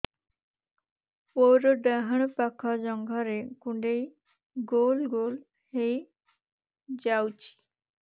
ମୋର ଡାହାଣ ପାଖ ଜଙ୍ଘରେ କୁଣ୍ଡେଇ ଗୋଲ ଗୋଲ ହେଇଯାଉଛି